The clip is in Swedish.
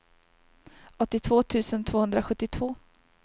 åttiotvå tusen tvåhundrasjuttiotvå